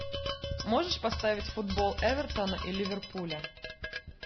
можешь поставить футбол эвертона и ливерпуля